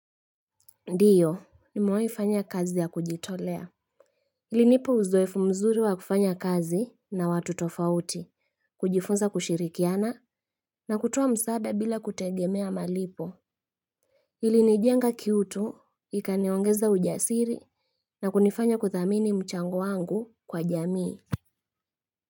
Ndiyo nimewai fanya kazi ya kujitolea. Ilinipa uzoefu mzuri wa kufanya kazi na watu tofauti kujifunza kushirikiana na kutoa msaada bila kutegemea malipo ilinijenga kiutu ikaniongeza ujasiri na kunifanya kuthamini mchango wangu kwa jamii.